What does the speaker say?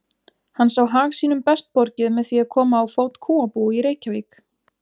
Hann sá hag sínum best borgið með því að koma á fót kúabúi í Reykjavík.